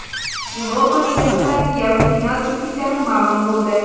Yevropa Ligasida yarim final juftliklari ma’lum bo‘ldi.